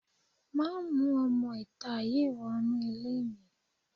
Má mú ọmọ-ìta yìí wọnú ilé mi